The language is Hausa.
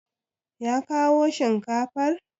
Ya kawo shinkafar?